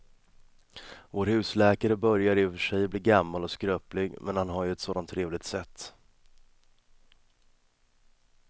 Vår husläkare börjar i och för sig bli gammal och skröplig, men han har ju ett sådant trevligt sätt!